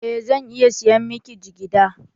Eh, zan iya sayan miki jigida